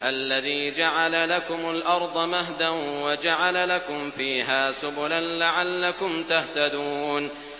الَّذِي جَعَلَ لَكُمُ الْأَرْضَ مَهْدًا وَجَعَلَ لَكُمْ فِيهَا سُبُلًا لَّعَلَّكُمْ تَهْتَدُونَ